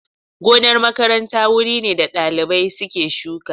Gonar makaranta wuri ne da dalibai suke shuka.